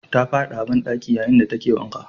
Ta fadi a bandaki yayin da take wanka.